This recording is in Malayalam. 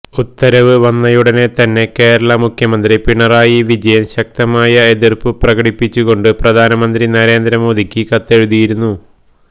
ഉത്തരവ് വന്നയുടനെ തന്നെ കേരള മുഖ്യമന്ത്രി പിണറായി വിജയന് ശക്തമായ എതിര്പ്പു പ്രകടിപ്പിച്ചു കൊണ്ട് പ്രധാനമന്ത്രി നരേന്ദ്ര മോദിക്ക് കത്തെഴുതിയിരുന്നു